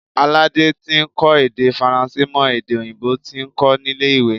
Alade tí ń kọ́ èdè Faransé mọ èdè òyìnbó tí ó ń kó nílé ìwé.